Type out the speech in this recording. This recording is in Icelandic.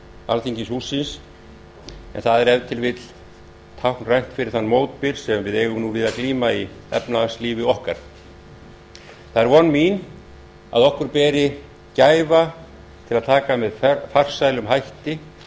alþingishússins og það er ef til vill táknrænt fyrir þann mótbyr sem við eigum nú við að glíma í efnahagslífi okkar það er von mín að okkur beri gæfa til að taka með farsælum hætti